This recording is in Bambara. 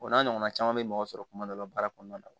O n'a ɲɔgɔnna caman bɛ mɔgɔ sɔrɔ kuma dɔ la baara kɔnɔna na